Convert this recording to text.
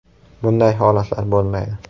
Bunday holatlar bo‘lmaydi.